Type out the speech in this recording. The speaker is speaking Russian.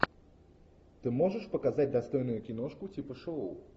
ты можешь показать достойную киношку типа шоу